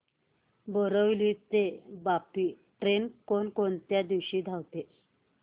बोरिवली ते वापी ट्रेन कोण कोणत्या दिवशी धावते